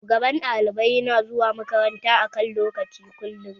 Shugaban ɗalibai yana zuwa makaranta a kan lokaci kullum